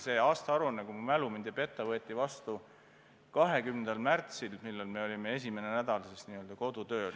See aasta-aruanne, kui mu mälu mind ei peta, võeti vastu 20. märtsil, kui me olime esimest nädalat n-ö kodutööl.